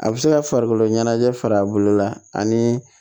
A bɛ se ka farikolo ɲɛnajɛ fa bolo la ani